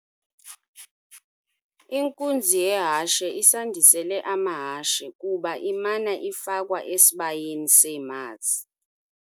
Inkunzi yehashe isandisele amahashe kuba imana ifakwa esibayeni seemazi.